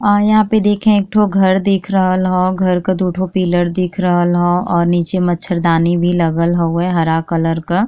यहाँँ पे देखे एक ठो घर दिख रहल हउ। घर का दू ठो पिलर दिख रहल हउ और नीचे मछरदानी भी लगल हउए हरा कलर क।